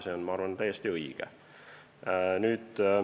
Ja ma arvan, et see on täiesti õige.